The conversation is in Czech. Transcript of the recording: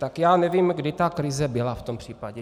Tak já nevím, kdy ta krize byla v tom případě.